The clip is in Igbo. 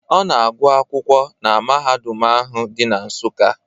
Ọ na-agụ akwụkwọ na na mahadum ahụ di na Nsukka.